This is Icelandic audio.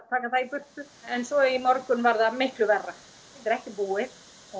taka það í burtu en svo í morgun var það miklu verra þetta er ekki búið